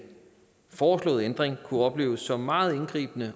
foreslåede ændring kunne opleves som meget indgribende